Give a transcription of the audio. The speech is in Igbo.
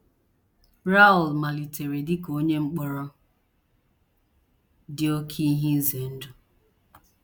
Raoul * malitere dị ka onye mkpọrọ dị oké ize ndụ.